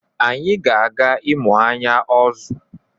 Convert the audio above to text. Anyị ga-aga ịmụ anyị ozu.